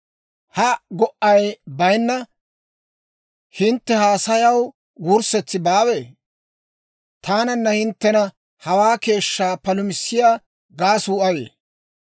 Ha go"ay bayinna hintte haasayaw wurssetsi baawee? Taananna hinttena hawaa keeshshaa palumissiyaa gaasuu ayee?